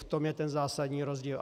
V tom je ten zásadní rozdíl.